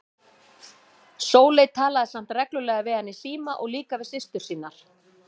Sóley talaði samt reglulega við hann í síma og líka við systur sínar.